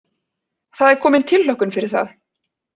Það er komin tilhlökkun fyrir það.